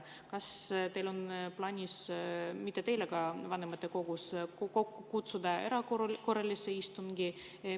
Kas teil on plaanis – mitte teil, aga vanematekogul – kokku kutsuda erakorraline istung?